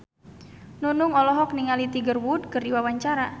Nunung olohok ningali Tiger Wood keur diwawancara